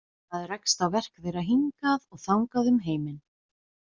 Maður rekst á verk þeirra hingað og þangað um heiminn.